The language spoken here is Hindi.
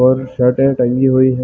और शर्टस टंगी हुई हैं।